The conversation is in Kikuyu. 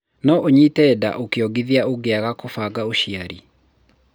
No ũnyite nda ũkĩongithia ũngĩaga gũbanga ũciari.